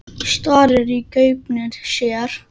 Starir í gaupnir sér.